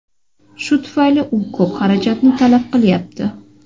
Shu tufayli u ko‘p xarajatni talab qilyapti.